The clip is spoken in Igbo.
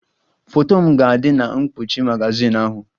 Foto m ga-adị na mkpuchi magazin ahụ.